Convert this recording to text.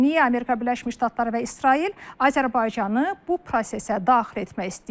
Niyə Amerika Birləşmiş Ştatları və İsrail Azərbaycanı bu prosesə daxil etmək istəyir?